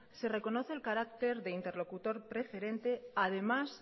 se reconoce el carácter de interlocutor preferente además